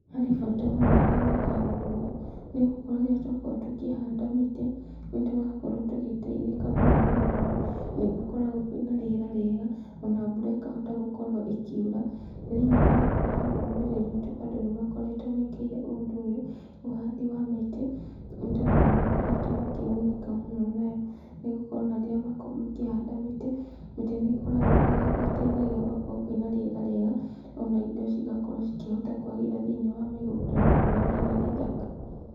Harĩ bata mũnene gwĩka ũndũ ũyũ nĩgũkorwo rĩrĩa twakorwo tũkĩhanda mĩtĩ nĩtũrakorwo tũgĩteithĩka mũno nĩgũkorwo nĩgũkoragwo kwĩna rĩera rĩega ona mbura ĩkahota gũkorwo ĩkiura. Thĩiniĩ wa, wa rũrĩrĩ rwĩtũ andũ nĩmakoretwo mekĩrĩire ũndũ ũyũ ũhandi wa mĩtĩ, nĩtondũ nĩmakoretwo makĩgunĩka mũno nayo. Nĩgũkorwo ona rĩrĩa makorwo makĩhanda mĩtĩ, mĩtĩ nĩ ĩkoragwo, nĩteithagia gũgakorwo kwĩna rĩera rĩega, ona indo cigakorwo cikĩhota kwagĩra thĩiniĩ wa mĩgũnda nĩũndũ wa rĩera rĩthaka.